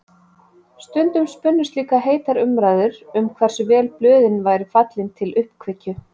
Stundum spunnust líka heitar umræður um hversu vel blöðin væru fallin til uppkveikju.